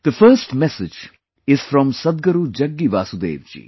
The first message is from Sadhguru Jaggi Vasudev ji